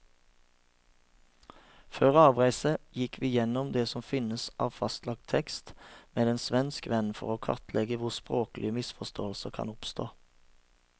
Før avreise gikk vi gjennom det som finnes av fastlagt tekst med en svensk venn, for å kartlegge hvor språklige misforståelser kan oppstå.